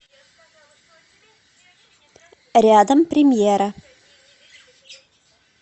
рядом премьера